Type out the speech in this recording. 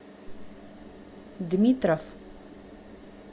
дмитров